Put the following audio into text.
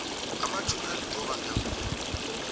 amatjhumi alithoba ngemva